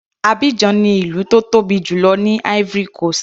Abidjan ni ìlú tó tóbi jùlọ ní Ivory coast.